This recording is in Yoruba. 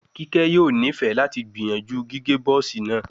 Kike yoo nifẹ lati gbiyanju gige Buzz naa